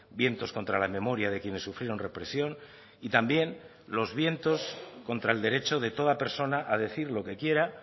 vientos contra la memoria de quienes sufrieron represión y también los vientos contra el derecho de toda persona a decir lo que quiera